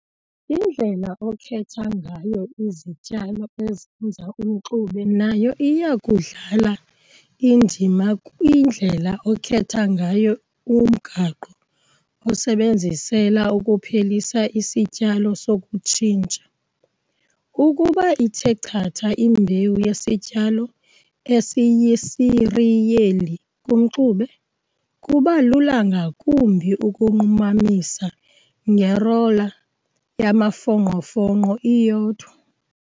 Indlela okhetha ngayo izityalo ezenza umxube nayo iya kudlala indima kwindlela okhetha ngayo umgaqo owusebenzisela ukuphelisa isityalo sokutshintsha. Ukuba ithe chatha imbewu yesityalo esiyisiriyeli kumxube, kuba lula ngakumbi ukunqumamisa ngerola yamafongqofongqo iyodwa.